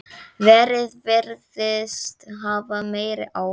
Veðrið virðist hafa meiri áhrif.